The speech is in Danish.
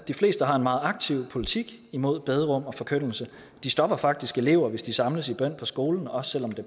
de fleste har en meget aktiv politik imod bederum og forkyndelse de stopper faktisk elever hvis de samles i bøn på skolen også selv om det